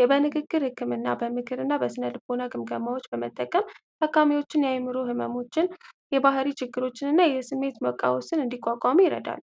የበንግግር ህክምና በምክር እና በስነልቦናዎች በመጠቀም ታካሚዎችን የአዕምሮ ህመሞችን ፣የባርይ ችግሮችን እና የስሜት መቃወስን እንዲቋቋሙ ይረዳሉ።